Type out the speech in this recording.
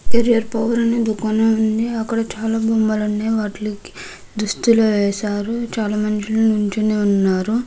దుకాణం ఉంది. అక్కడ దుస్తువులు వేశారు. చాలా రకాల దుస్తులు ఉన్నాయి. చాలా మంది నిల్చోని ఉన్నారు.